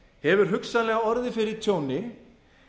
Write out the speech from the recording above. hefur hugsanlega orðið fyrir tjóni